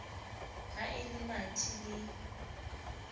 ha e le mathe le